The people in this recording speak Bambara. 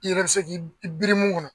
I yɛrɛ bɛ se k'e i biri mun kɔnɔ.